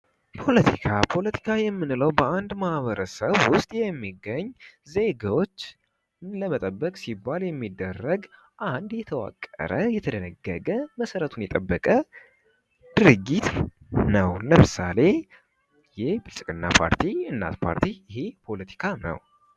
ፖለቲካ፦ ፖለቲካ ማለት በአንድ ማህበርሰብ ውስጥ የሚገኝ ዜጎችን ለመጠበቅ ሲባል የሚደረግ አንድ የተዋቀረ እና የተደነገገ እና መሰረቱን የጠበቀ ድርጊት ነው። ለምሳሌ የብልጽግና ፓርቲ እና እናት ፓርቲ ይህ ፖለቲካ ነው።